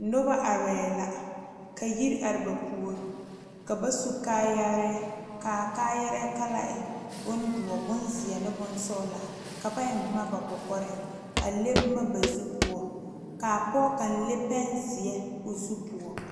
Noba are la ka yiri are ba puori ka ba su kaayare kaa kala e bondoɔ ,bonziɛ ne bonsɔglaa ka ba eŋ boma ba kɔkɔre a le boma ba zu poɔ ka pɔge kaŋ le pene ziɛ o zu poɔ.